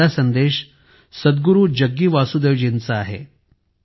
हा पहिला संदेश सद्गुरु जग्गी वासुदेवजींचा आहे